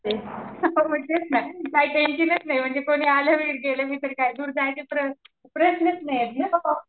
हां मग तेच ना काय टेन्शनच नाही काय कोणी आलं बी गेलं बी तरी दूर जाण्याच प्रश्नच नाहीत ना ओ